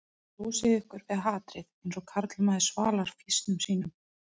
Þið losið ykkur við hatrið eins og karlmaður svalar fýsnum sínum